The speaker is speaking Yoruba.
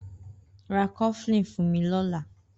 Rá kọflin fún mi lọ̀lá